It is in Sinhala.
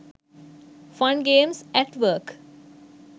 fun games at work